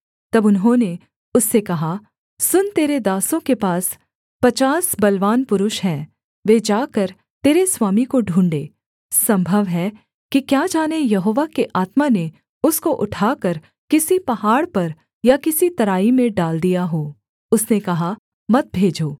तब उन्होंने उससे कहा सुन तेरे दासों के पास पचास बलवान पुरुष हैं वे जाकर तेरे स्वामी को ढूँढ़ें सम्भव है कि क्या जाने यहोवा के आत्मा ने उसको उठाकर किसी पहाड़ पर या किसी तराई में डाल दिया हो उसने कहा मत भेजो